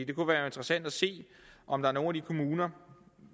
kunne være interessant at se om der i nogle kommuner